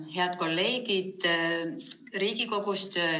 Head kolleegid Riigikogust!